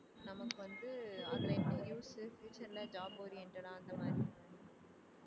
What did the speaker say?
நமக்கு வந்து அதுல future ல job oriented ஆ அந்த மாதிரி